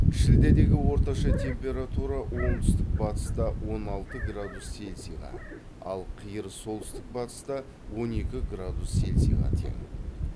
шілдедегі орташа температура оңтүстік батыста он алты градус селсиға ал қиыр солтүстік батыста он екі градус селсиға тең